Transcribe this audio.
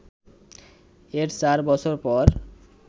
এর চার বছর পর